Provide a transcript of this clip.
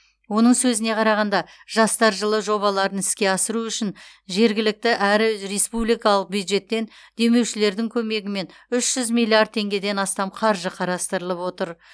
оның сөзіне қарағанда жастар жылы жобаларын іске асыру үшін жергілікті әрі республикалық бюджеттен демеушілердің көмегімен үш жүз миллиард теңгеден астам қаржы қарастырылып отыр